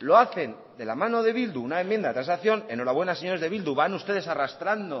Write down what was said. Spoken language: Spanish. lo hacen de la mano de bildu una enmienda de transacción enhorabuena señores de bildu van ustedes arrastrando